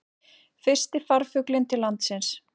Fyrsti farfuglinn til landsins